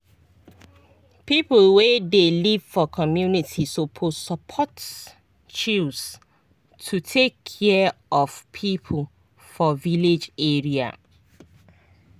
people wey dey live for community suppose support chws to take care of people for village area.